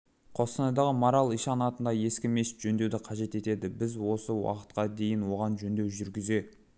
қостанайдағы марал ишан атындағы ескі мешіт жөндеуді қажет етеді біз осы уақытқа дейін оған жөндеу жүргізе